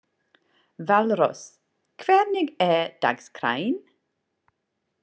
Valrós, hvernig er dagskráin?